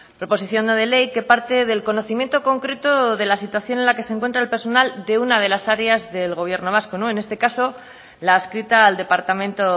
proposición no de ley que parte del conocimiento concreto de la situación en la que se encuentra el personal de una de las áreas del gobierno vasco en este caso la adscrita al departamento